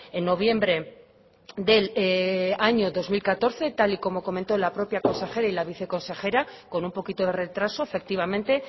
en noviembre del año dos mil catorce tal y como comentó la propia consejera y la viceconsejera con un poquito de retraso efectivamente